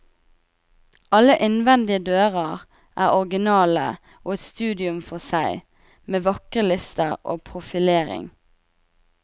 Alle innvendige dører er originale og et studium for seg med vakre lister og profilering.